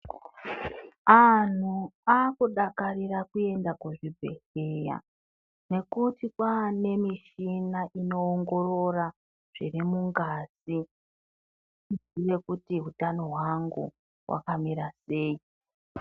Anhu akudakarira kuenda kuzvibhedhlera nekuti kwaane michina inoona zvitenda zvirimungazi uzive kuti utano hwangu wakamira sei .